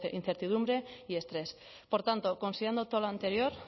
incertidumbre y estrés por tanto considerando todo lo anterior